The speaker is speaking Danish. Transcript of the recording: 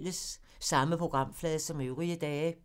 Samme programflade som øvrige dage